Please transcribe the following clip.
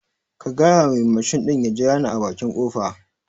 Ka gyayawa mai mashin ɗin ya jirane a baƙi kofa